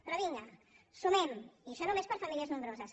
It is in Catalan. però vinga sumem i això només per a famílies nombroses